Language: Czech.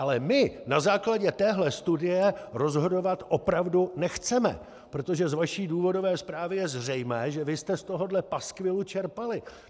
Ale my na základě téhle studie rozhodovat opravdu nechceme, protože z vaší důvodové zprávy je zřejmé, že vy jste z tohohle paskvilu čerpali.